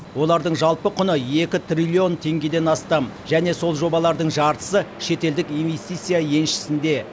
олардың жалпы құны екі триллион теңгеден астам және сол жобалардың жартысы шетелдік инвестиция еншісінде